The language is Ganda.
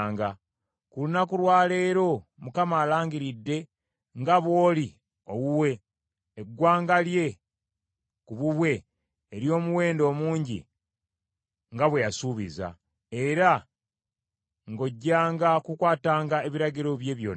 Ku lunaku lwa leero Mukama alangiridde nga bw’oli owuwe, eggwanga lye ku bubwe ery’omuwendo omungi nga bwe yasuubiza, era nga ojjanga kukwatanga ebiragiro bye byonna.